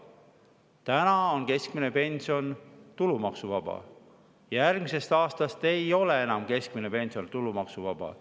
Täna on keskmine pension tulumaksuvaba, järgmisest aastast ei ole enam keskmine pension tulumaksuvaba.